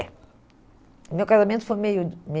E meu casamento foi meio